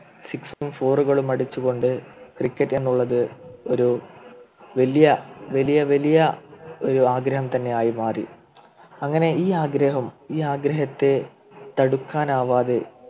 Sixer ഉം Four കളും അടിച്ചു കൊണ്ട് Cricket എന്നുള്ളത് ഒരു വലിയ വലിയ വലിയ ഒരു ആഗ്രഹം തന്നെയായിരുന്നു ആദ്യം അങ്ങനെ ഈ ആഗ്രഹം ഈ ആഗ്രഹത്തെ തടുക്കാൻ ആവാതെ